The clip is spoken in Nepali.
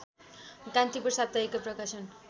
कान्तिपुर साप्ताहिकको प्रकाशन